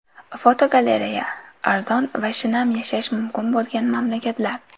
Fotogalereya: Arzon va shinam yashash mumkin bo‘lgan mamlakatlar.